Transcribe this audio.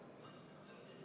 Hea kolleeg!